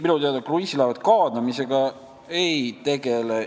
Ei, minu teada kruiisilaevad kaadamisega ei tegele.